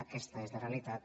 aques·ta és la realitat